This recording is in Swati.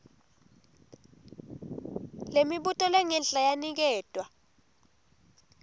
lemibuto lengenhla yaniketwa